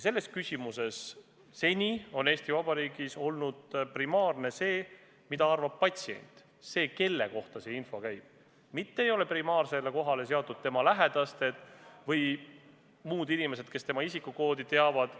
Seni on Eesti Vabariigis selles küsimuses olnud primaarne see, mida arvab patsient – see, kelle kohta info käib –, mitte ei ole esikohale seatud tema lähedased või muud inimesed, kes patsiendi isikukoodi teavad.